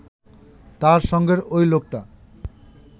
তার সঙ্গের ঐ লোকটা